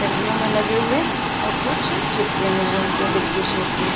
डंडियों में लगे हुए और कुछ चिपके हुए है उसमें दिल के शेप में।